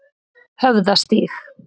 Höfðastíg